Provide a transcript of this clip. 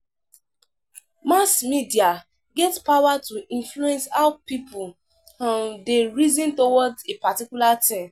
Mass Mass media get power to influence how pipo um de reason towards a particular thing